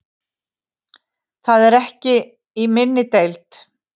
Það er ekki í minni deild.